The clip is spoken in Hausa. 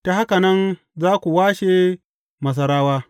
Ta haka nan za ku washe Masarawa.